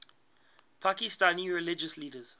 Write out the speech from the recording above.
pakistani religious leaders